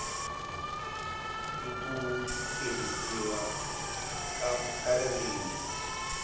n ku tirhisiwa ka ririmi